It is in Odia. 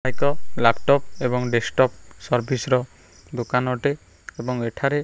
ଏକ ଲାପଟପ ଏବଂ ଡେସ୍କଟପ ସର୍ଭିସ ର ଦୋକାନ ଅଟେ ଏବଂ ଏଠାରେ --